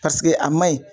Paseke a man ɲi